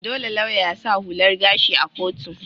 Dolle lauya ya sa hular gashi a'kotu.